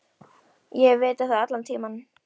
Ég hef vitað það allan tímann.